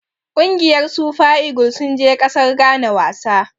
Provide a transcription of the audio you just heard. Ƙungiyar Super eagle sun je ƙasar Ghana wasa.